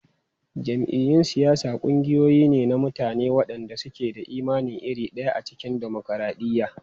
Jam'iyyun siyasa ƙungiyoyi ne na mutane waɗanda suke da imani iri ɗaya a cikin dimokuradiyya.